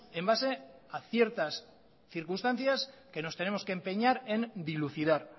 en base a ciertas circunstancias que nos tenemos que empeñar en dilucidar